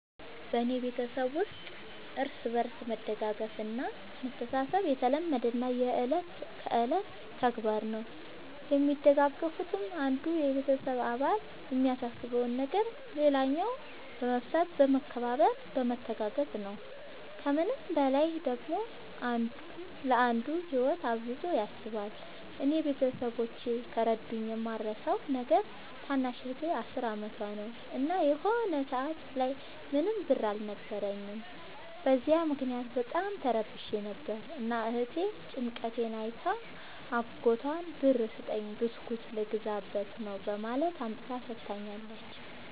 በኔ ቤተሠብ ውስጥ እርስ በርስ መደጋገፍ እና መተሣሠብ የተለመደና የእለት ከእለት ተግባር ነው። የሚደጋገፉትም አንዱ የቤተሰብ አባል የሚያሳስበውን ነገር ሌላኛው በመፍታት በመከባበር በመተጋገዝ ነው። ከምንም በላይ ደግሞ አንዱ ለአንዱ ህይወት አብዝቶ ያስባል። እኔ ቤተሠቦቼ ከረዱኝ የማረሣው ነገር ታናሽ እህቴ አስር አመቷ ነው። እና የሆነ ሰአት ላይ ምንም ብር አልነበረኝም። በዚያ ምክንያት በጣም ተረብሼ ነበር። እና እህቴ ጭንቀቴን አይታ አጎቷን ብር ስጠኝ ብስኩት ልገዛበት ነው በማለት አምጥታ ሠጥታኛለች።